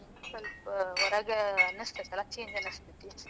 ಸ್ವಲ್ಪ ಹೊರಗ ಅನಸ್ತೈತಲ್ಲಾ, change ಅನಸ್ತೈತಿ.